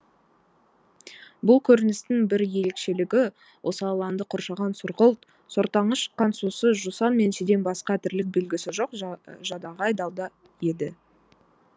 бұл көріністің бір ерекшелігі осы алаңды қоршаған сұрғылт сортаңы шыққан сусыз жусан мен шиден басқа тірлік белгісі жоқ жадағай далда еді